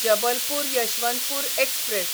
Jabalpur Yesvantpur express